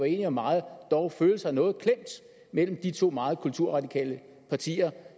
enige om meget dog føle sig noget klemt mellem de to meget kulturradikale partier